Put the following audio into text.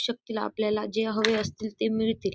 शक्तीला आपल्याला जे हवे असतील ते मिळते.